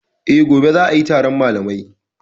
E, gobe za a yi taron malamai.